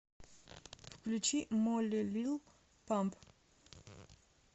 включи молли лил памп